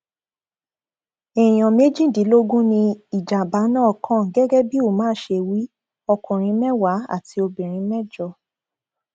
èèyàn méjìdínlógún ni ìjàmbá náà kàn gẹgẹ bí umar ṣe wí ọkùnrin mẹwàá àti obìnrin mẹjọ